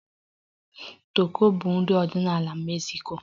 Tako bụ nri ọdịnala Mexico